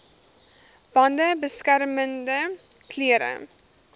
bande beskermende klere